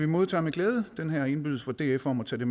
modtager med glæde den her indbydelse fra df om at tage